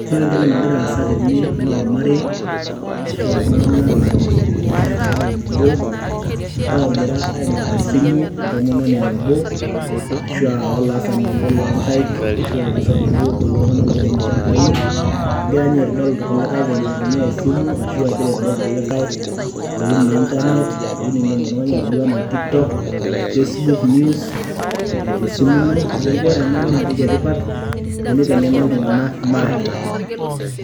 ore entoki nagira asa teene naa olamarei, ashu altunganak, loomanya ewuei nebo, loogira aing'or esimu entomononi nabo, ashu olaasani obo loonkaik, loirem ilchampai. egira ninye aitodol ilkulikae venye naitumia esimu ashu egira aitodol ilkulikae intokitin,e internet. kidim oltungani atodua anaa tiktok, Facebook, news tesimu ino. neeku ore ena naa antoki etipat teneiteng'ena iltunganak maate.